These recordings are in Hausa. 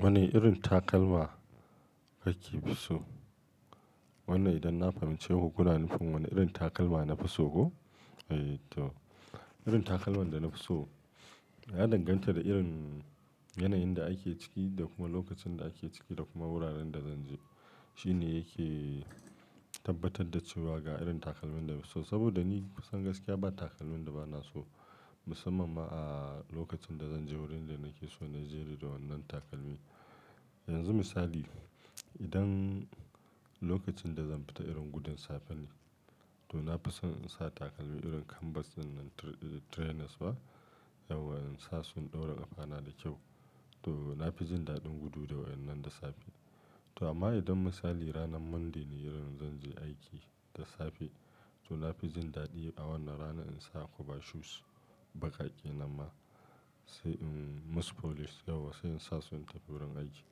Wani irin takalma kake so? Wannan idan na fahimci ku kuna nufin wani irin takalma nafi so koh? Eh to, irin takalman da nafi so ya danganta da irin yanayin da ake ciki da kuma lokacin da ake ciki da kuma wuraren da zan je. Shine yake tabbatar da cewa ga irin takalmin da nafi so. Saboda ni kusan gaskiya ba takalmi da ba na so, musamman ma a lokacin da zan je wurin da nake so a naje ne da wannan takalmi. Yanzu misali, idan lokacin da zan fita irin gudun safe ne, to nafi son in sa takalmi irin canvas ɗinnan trainers ba? Yawwa in sa su in ɗaura ƙafana da kyau. To nafi jin daɗin gudu da waɗannan da safe. To amma idan misali ranar Monday ne irin zan je aiki da safe, to nafi jin daɗi a wannan rana in sa cover shoes baƙaƙe nan ma, sai in musu polish yauwa sai in sa su in tafi wurin aiki.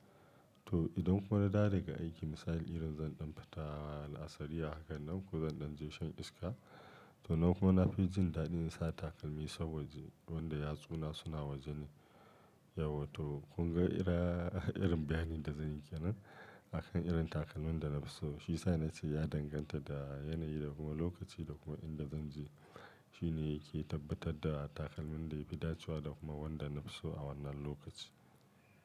To idan kuma na dawo daga aiki misali irin zan ɗan fita na asiri haka nan ko zan ɗan je shan iska, to nan kuwa nafi jin daɗin in sa takalmi saboda wanda yatsuna suna wajeni. Yauwa to kun ga irin, irin bayanin da zan yi kenan. Akan irin takalmin da nafi so. Shi sa nace ya danganta da yanayi da kuma lokaci da kuma inda zan je. Shine yake tabbatar da takalmin da yafi dacewa da kuma wanda nafi so a wannan lokaci.